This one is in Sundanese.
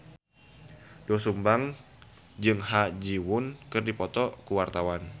Doel Sumbang jeung Ha Ji Won keur dipoto ku wartawan